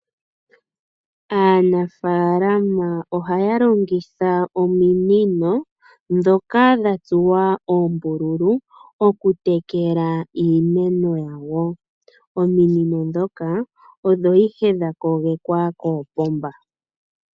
Aanafaalama ohaya longitha ominino ndhoka dha tsuwa oombululu okutekala iimeno yawo. Ominino ndhoka odho ihe dha kogekwa koopomba